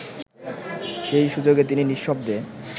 সেই সুযোগে তিনি নিঃশব্দে